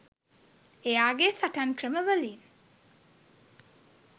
එයාගේ සටන් ක්‍රම වලින්